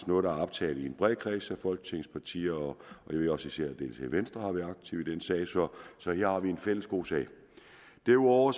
noget der har optaget en bred kreds af folketingets partier og især venstre har været aktiv i den sag så her har vi en fælles god sag derudover